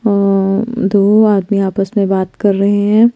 और दो आदमी आपस में बात कर रहे है।